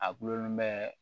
A gulonlen bɛ